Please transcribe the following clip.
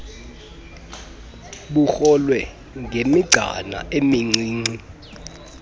bukrolwe ngemigcana emincinci